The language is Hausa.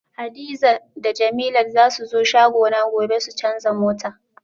Hadiza da jemilat zasu zo shagona gobe su canza mota